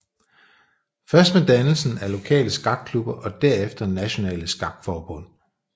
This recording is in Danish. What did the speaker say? Først med dannelsen af lokale skakklubber og derefter nationale skakforbund